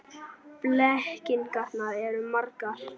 Blekkingarnar eru margar.